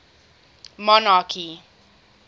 monarchy